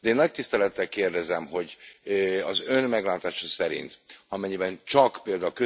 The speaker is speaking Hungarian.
De én nagy tisztelettel kérdezem, hogy az Ön meglátása szerint amennyiben csak pl.